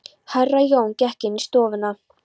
Herra Jón gekk inn í stofuna.